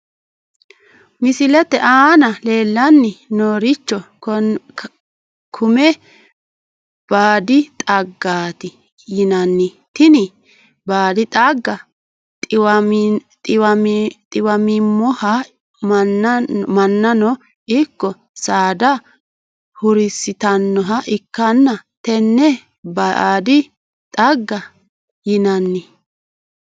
Misilete aana leelani nooricho konme baadi xaggati yinani tini baadi xagga xiwamimoha mannano ikko saadano hurisitanoha ikkana tenne baadi xagga yinani.